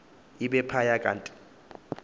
ibe iphaya kanti